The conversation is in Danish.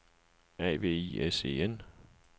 A V I S E N